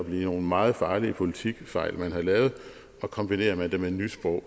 nogle meget farlige politikfejl man har lavet og kombinerer man det med nysprog